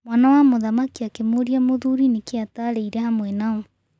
Mwana wa mũthamaki akĩmũrĩa mũthuri nĩkĩ atarĩire hamwe nao.